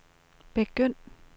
begynd